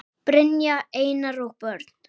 Brynja, Einar og börn.